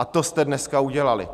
A to jste dneska udělali.